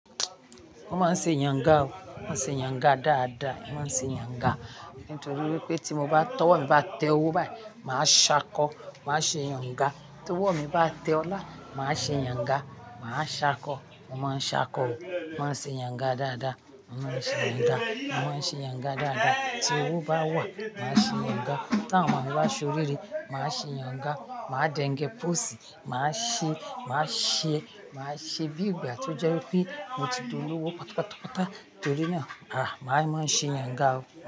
Wọ́n máa ń ṣe yanga o, wọ́n ṣe yanga dáadáa, wọ́n ṣe yanga. Nítorí wípé tí mo bá, tọ́wọ́ mi bá tẹ owó báyìí màá ṣákọ, màá ṣe yàǹga. Tówọ́ mi bá tẹ ọlá, màá ṣe yàǹga, màá ṣakọ. Mo máa ń ṣakọ o, mo máa ń ṣe yàǹga dáadáa. Mo máa ń ṣe yanga, mo máa ń ṣe yanga dáadáa. Tí owó bá wà, màá ṣe yanga. Tí àwọn ọmọ mi bá ṣe oríire, màá ṣe yàǹga màá dẹngẹ pọ́ọ̀sì, màá ṣe, màá ṣe, màá ṣe bí ìgbà tí ó jẹ́ wípé mo ti di olówó pàtápàtápàta torí náà. Àá, màá máa ń ṣe yàǹga.